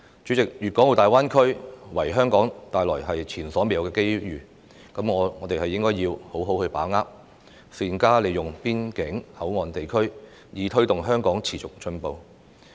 主席，粤港澳大灣區為香港帶來前所未有的機會，我們必須好好把握，善用邊境口岸地區，推動香港持續進步。